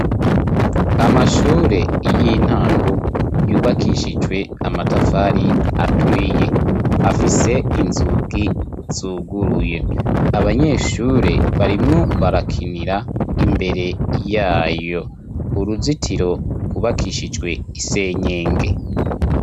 Amashure y'intango yubakishijwe amatafari aturiye ,afise inzugi zuguruye ,abanyeshure barimwo barakinira imbere yayo ,uruzitiro kubakishijwe isenyenge.